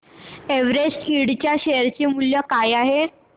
Everest Ind च्या share चे मूल्य काय आहे